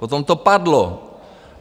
Potom to padlo.